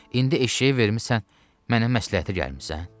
İndi eşşəyi vermisən, mənə məsləhətə gəlmisən?